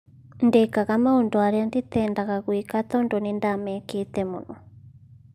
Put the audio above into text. Ndikega maũndũ aria nditendaga gwĩka tondu nĩndamekete mũno